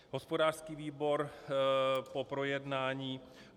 Hospodářský výbor po projednání